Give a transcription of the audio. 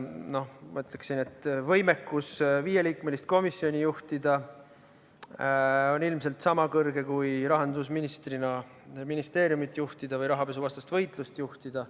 Ma ütleksin, et võimekus viieliikmelist komisjoni juhtida on ilmselt sama suur kui rahandusministrina ministeeriumi juhtida või rahapesuvastast võitlust juhtida.